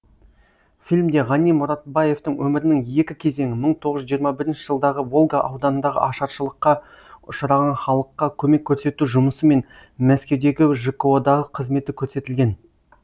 фильмде ғани мұратбаевтың өмірінің екі кезеңі мың тоғыз жүз жиырма бірінші жылдағы волга ауданындағы ашаршылыққа ұшыраған халыққа көмек көрсету жұмысы мен мәскеудегі жко дағы қызметі көрсетілген